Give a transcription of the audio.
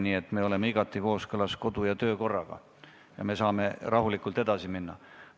Nii et me oleme igati kooskõlas kodu- ja töökorraga ning me saame rahulikult edasi minna.